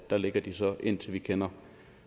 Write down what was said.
dér ligger det så indtil vi kender